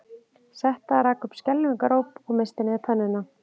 Setta rak upp skelfingaróp og missti niður pönnuna